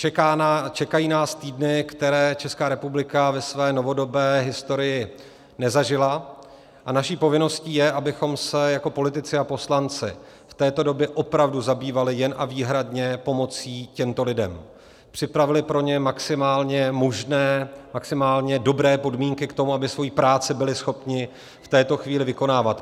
Čekají nás týdny, které Česká republika ve své novodobé historii nezažila, a naší povinností je, abychom se jako politici a poslanci v této době opravdu zabývali jen a výhradně pomocí těmto lidem, připravili pro ně maximálně možné, maximálně dobré podmínky k tomu, aby svoji práci byli schopni v této chvíli vykonávat.